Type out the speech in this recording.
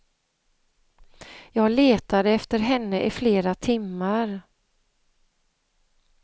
Jag letade efter henne i flera timmar.